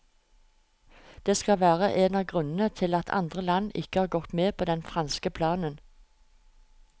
Det skal være en av grunnene til at andre land ikke har gått med på den franske planen.